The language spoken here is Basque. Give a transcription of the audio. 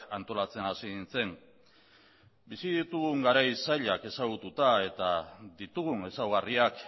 antolatzen hasi nintzen bizi ditugun garai zailak eta ditugun ezaugarriak